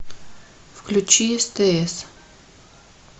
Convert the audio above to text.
включи стс